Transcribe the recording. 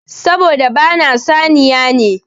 Saboda ba na saniya ne.